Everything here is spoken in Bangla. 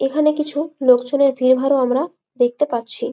এখানে কিছু লোকজনের ভিড় ভার ও আমরা দেখতে পাচ্ছি।